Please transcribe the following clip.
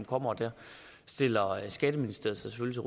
kommer og der stiller skatteministeriet sig